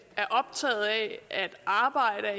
at arbejde er